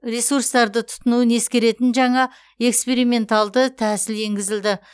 ресурстарды тұтынуын ескеретін жаңа эксперименталды тәсіл енгізілді